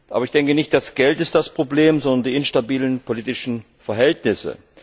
Aber nicht das Geld ist das Problem, sondern die instabilen politischen Verhältnisse.